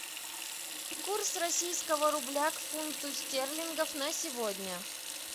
курс российского рубля к фунту стерлингов на сегодня